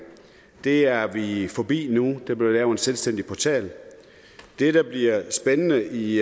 det er vi forbi nu der bliver lavet en selvstændig portal det der bliver spændende i